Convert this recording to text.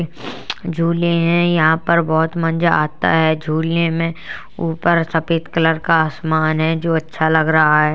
झूले हैं यहाँ पर बोहोत मंजा आता है झूलने में। ऊपर सफेद कलर का आसामन है जो अच्छा लग रहा है।